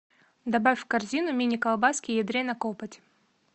добавь в корзину мини колбаски ядрена копоть